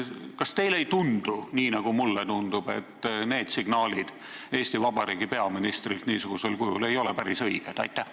Kas teile ei tundu, nii nagu mulle tundub, et need signaalid Eesti Vabariigi peaministrilt niisugusel kujul ei ole päris õiged?